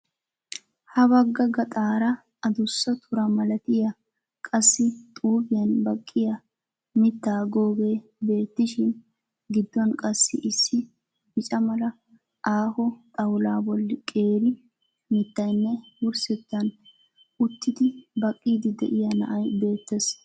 Ha bagga gaxxaara addussa tura milattiya qassi xuufiyaan baqiya mittaa googee beetishin gidduwaan qassi issi bicca mala aaho xawulaa bolli qeeri mittiyanne wursettaan uttidi baqqiidi de'"iya na'ay beettees.